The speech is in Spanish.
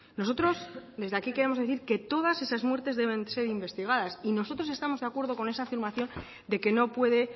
nosotros desde aquí queremos decir que todas esas muertes deben ser investigadas y nosotros estamos de acuerdo con esa afirmación de que no puede